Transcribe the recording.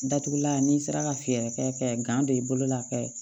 Datugulan n'i sera ka fɛɛrɛ kɛ ka gan don i bolo la kɛ